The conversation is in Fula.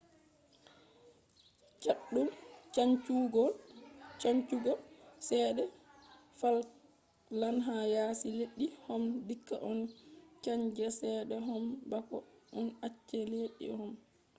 chaddum chanjugo chede falkland ha yasi leddi man dikka a chanja chede man bako a acca leddi man